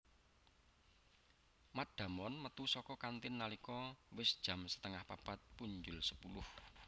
Matt Damon metu saka kantin nalika wis jam setengah papat punjul sepuluh